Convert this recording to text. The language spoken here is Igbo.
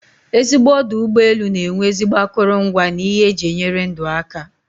Ezigbo ọdụ ụgbọelụ na enwe ezigbo akụrụngwa na ihe eji enyere ndụ aka